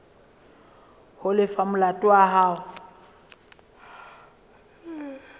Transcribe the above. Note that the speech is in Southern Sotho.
ho lefa molato wa hao